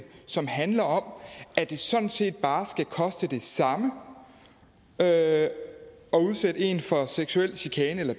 som handler om at det sådan set bare skal koste det samme at udsætte en for seksuel chikane eller